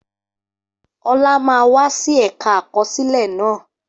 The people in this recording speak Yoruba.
Olá máa wá sí ẹ̀ka àkọsílẹ̀ naa